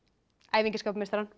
æfingin skapar meistarann